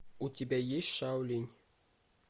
у тебя есть шаолинь